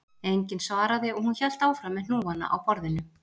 Enginn svaraði og hún hélt áfram með hnúana á borðinu